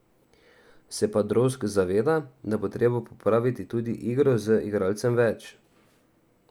Se pa Drozg zaveda, da bo treba popraviti tudi igro z igralcem več.